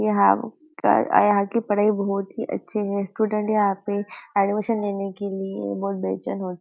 यहाँ कर अ यहाँ की पढ़ाई बहुत ही अच्छी है स्टूडेंट यहाँ पे एडमिशन लेने के लिए बहुत बेचैन होते।